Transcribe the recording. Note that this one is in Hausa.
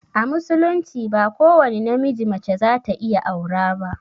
A musulunci ba ko wani na miji mace za ta iya aura ba